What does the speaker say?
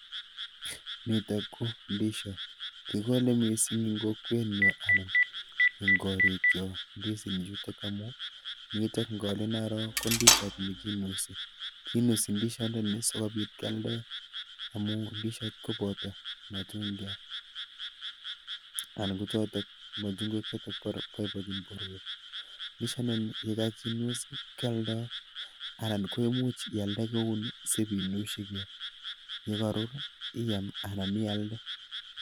Nitok ko ndisiot. Kikole mising eng kokwenyo anan eng korikchok ndisinichutok yutok ngolin aro ko ndishot nokinusi. Kinusi ndishondoni sikobit kealde. amun ndishot koboto matundatit Anan kochotok matundek chikikokanyi korurio. Ndishotdoni yekakinusi kialda anan ialde sipinushigei yekarur iam anan ialde.